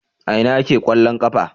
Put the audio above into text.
A ina ake kwallon kafa?